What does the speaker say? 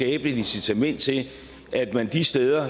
et incitament til at man de steder